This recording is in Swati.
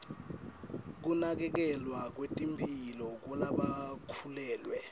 kunakekelwa kwetemphilo kwalabakhulelwe